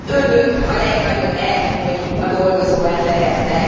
Önök a legnagyobb elnyomói a dolgozó embereknek.